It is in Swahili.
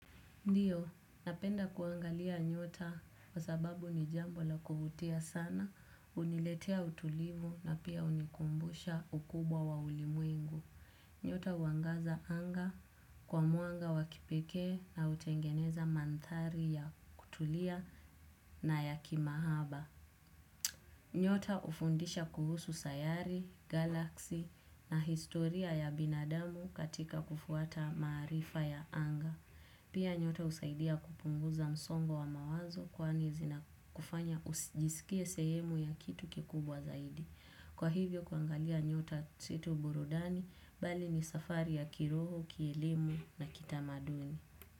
Ndiyo, napenda kuangalia nyota kwa sababu ni jambo la kuvutia sana, uniletea utulivu na pia unikumbusha ukubwa wa ulimwengu. Nyota uangaza anga kwa mwanga wa kipekee na utengeneza manthari ya kutulia na ya kimahaba. Nyota ufundisha kuhusu sayari, galaksi na historia ya binadamu katika kufuata maarifa ya anga. Pia nyota usaidia kupunguza msongo wa mawazo kwani zinakufanya ujisikie sehemu ya kitu kikubwa zaidi. Kwa hivyo kuangalia nyota si tu burudani, bali ni safari ya kiroho, kielimu na kitamaduni.